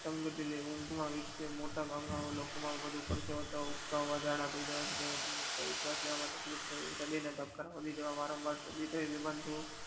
ઊંઘ માં વિકસેલ મોટા ભાગ ના લોકો વધુ પરસેવા, ઉપકા, ઝાલા થઇ જવા શ્વાસ લેવા માં તકલીફ થવી હૃદય ના ધબકારા વધવા બેભાન થાઉં